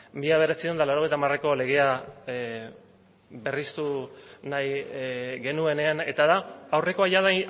mila bederatziehun eta laurogeita hamareko legea berriztu nahi genuenean eta da aurrekoa jada